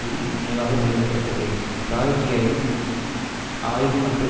win நினைவாகப் பெயரிட பட்டது பிராய்டியன் ஆய்வு மற்றும்